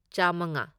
ꯆꯥꯝꯃꯉꯥ